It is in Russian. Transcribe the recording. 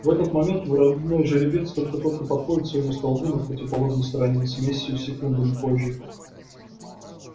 в этот момент вороной жеребец только-только подходит к своему столбу на противоположной стороне семью секундами позже